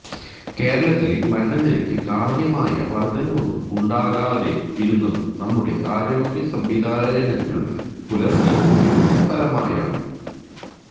കേരളത്തിലെ മരണനിരക്കിൽ കാര്യമായ വർദ്ധനവൊന്നും ഉണ്ടാകാതെ ഇരുന്നത് നമ്മുടെ ആരോഗ്യസംവിധാനങ്ങൾ പുലർത്തിയ മികവിന്റെ ഫലമായാണ്